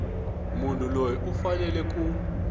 munhu loyi u fanele ku